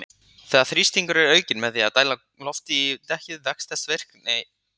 Þegar þrýstingur er aukinn með því að dæla lofti í dekkið vex þessi virki geisli.